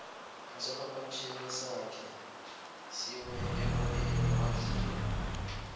isiphaphamtjhini sakhe siwe emoyeni wadliwa